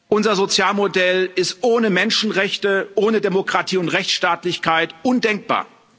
Unser Sozialmodell ist ohne Menschenrechte, ohne Demokratie und Rechtsstaatlichkeit undenkbar.